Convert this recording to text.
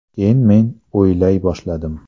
Keyin men o‘ylay boshladim.